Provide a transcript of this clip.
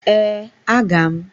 Ee, aga m.